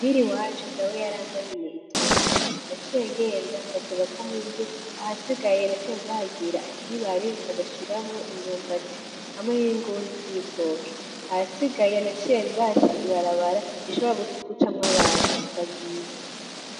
Muhiri iwacu dawe yarangabiye itongo, naciye ngenda ndaryubakamwo inzu, ahasigaye naciye ndahagira akibare ndagashiramwo imyumbati hamwe n'ingundu z'ibitoke, ahasigaye naciye ndahaca ibarabara rishobora gucamwo abantu bagiye.